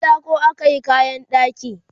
da katako akayi kayan ɗaki